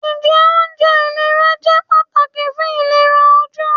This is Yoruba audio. Njẹ ounjẹ ilera jẹ pataki fun ilera oju.